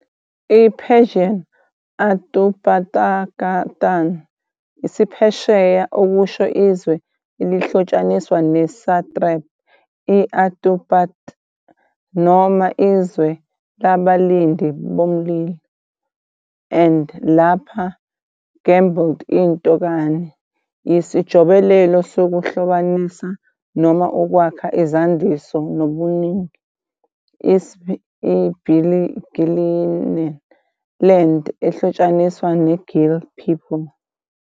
I-Persian Āturpātakān, isiPheresiya - okusho 'izwe elihlotshaniswa, ne-satrap, i-Aturpat' noma 'izwe labalindi bomlilo', -an, lapha garbled into -kān, yisijobelelo sokuhlobanisa noma ukwakha izandiso nobuningi, isb. I-Gilan 'land ehlotshaniswa neGil people'.